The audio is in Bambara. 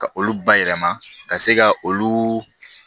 Ka olu bayɛlɛma ka se ka olu